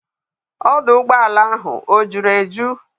Ọdụ ụgbọala ahụ o juru eju?